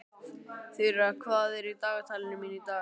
Þura, hvað er í dagatalinu mínu í dag?